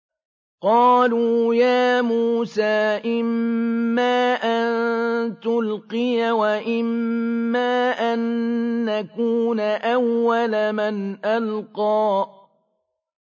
قَالُوا يَا مُوسَىٰ إِمَّا أَن تُلْقِيَ وَإِمَّا أَن نَّكُونَ أَوَّلَ مَنْ أَلْقَىٰ